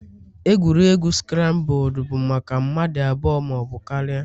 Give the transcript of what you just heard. Egwuregwu scrambled bụ maka mmadụ abụọ ma ọ bụ karịa